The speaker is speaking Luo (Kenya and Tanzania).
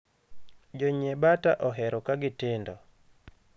Jonyie bata ohero kagi tindo.